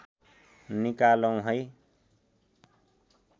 निकालौँ है